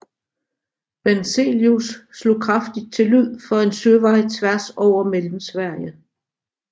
Benzelius slog kraftigt til lyd for en søvej tværs over Mellemsverige